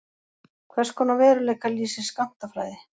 Hverskonar veruleika lýsir skammtafræði?